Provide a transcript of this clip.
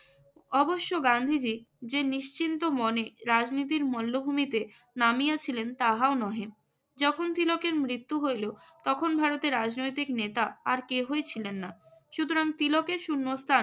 অবশ্য গান্ধীজি যে নিশ্চিন্ত মনে রাজনীতির মল্লভূমিতে নামিয়েছিলেন তারাও নহে যখন তিলকের মৃত্যু হইল তখন ভারতের রাজনৈতিক নেতা আর কেহই ছিলেন না। সুতরাং তিলকের শূন্যস্থান